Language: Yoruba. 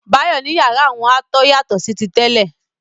Báyọ̀ ní yàrá òun a tó yàtọ̀ sí ti tẹ́lẹ̀.